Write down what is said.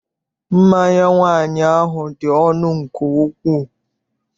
Mmanya nwaanyị ahụ dị ọnụ nke ukwuu.